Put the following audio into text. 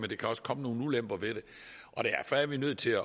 det kan også komme nogle ulemper ved det og derfor er vi nødt til